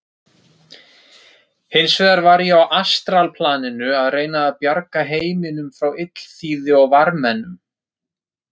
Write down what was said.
Hins vegar var ég á astralplaninu að reyna að bjarga heiminum frá illþýði og varmennum.